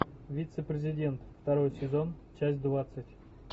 вице президент второй сезон часть двадцать